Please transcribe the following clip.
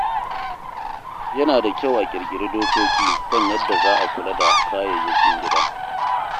Yana da kyau a ƙirƙiri dokoki kan yadda za a kula da kayayyakin gida.